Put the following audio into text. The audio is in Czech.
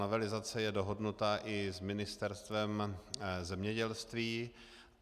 Novelizace je dohodnuta i s Ministerstvem zemědělství.